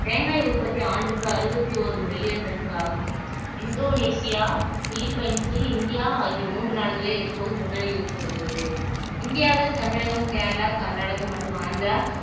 தேங்காய் உற்பத்தி ஆண்டுக்கு அறுபத்தி ஒரு மில்லியன் டன்களாகும் இந்தோனேசியா பிலிப்பைன்ஸ் இந்தியா ஆகிய மூன்று நாடுகளே இப்போது முன்னணியில் இருந்து வருகிறது இந்தியாவில் தமிழகம் கேரளா கர்நாடகம் மற்றும் ஆந்திரா